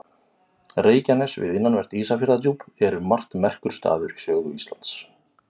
Reykjanes við innanvert Ísafjarðardjúp er um margt merkur staður í sögu Íslands.